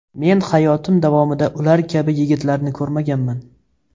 Men hayotim davomida ular kabi yigitlarni ko‘rmaganman.